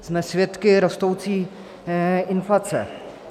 Jsme svědky rostoucí inflace.